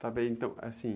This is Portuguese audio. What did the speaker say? Tá bem, então, assim...